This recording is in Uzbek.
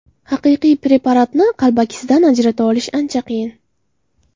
Haqiqiy preparatni qalbakisidan ajrata olish ancha qiyin.